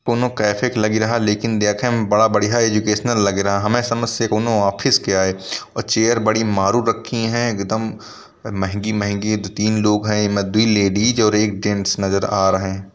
कोनों कैफै क लगी रहा लेकिन देखे में बड़ा बढ़िया एजुकेशनल लगी रहा। हमे समझ से कोनों ऑफिस कयाए औ चेयर बड़ी मारू रखी हैं एकदम महंगी महंगी। दू तीन लोग हैं एमे दुई लेडिस और एक जेन्ट्स नजर आ रहे हैं।